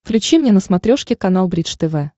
включи мне на смотрешке канал бридж тв